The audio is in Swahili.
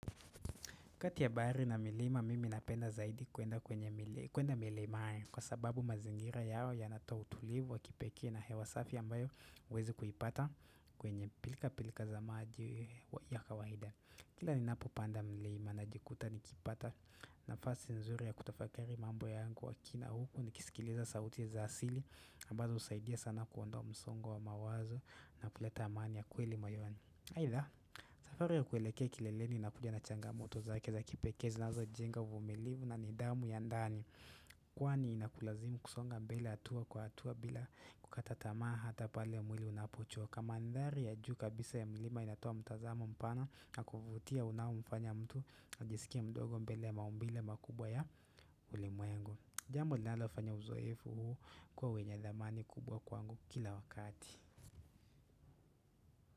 Kati ya bahari na milima mimi napenda zaidi kuenda kwenye mili milimani, kwa sababu mazingira yao yanatoa utulivu wa kipekee na hewa safi ambayo huwezi kuipata kwenye pilka pilka za maji ya kawaida. Kila ni napo panda milima najikuta nikipata nafasi nzuri ya kutafakari mambo yangu kwa kina huku nikisikiliza sauti za asili ambazo husaidia sana kuondoa wa msongo wa mawazo na kuleta amani ya kweli moyoni. Aitha, safari ya kueleke kileleni inakuja na changa moto zake za kipekee zinazo jenga uvumilivu na nidhamu ya ndani Kwani inakulazimu kusonga mbele hatua kwa hatua bila kukata tamaa hata pale mwili unapochoka mandhari ya juu kabisa ya milima inatoa mtazamo mpana na kuvutia unao mfanya mtu ajisikie mdogo mbele ya maumbile ya makubwa ya ulimwengu Jambo linalo fanya uzoefu huu kuwa wenye thamani kubwa kwangu kila wakati.